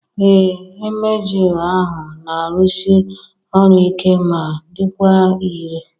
Ee, emgyl ahụ na-arụsi ọrụ ike ma dịkwa irè